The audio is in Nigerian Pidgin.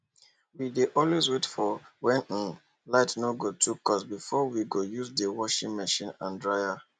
we dey always wait for when um light no too cost before we go use the washing machine and dryer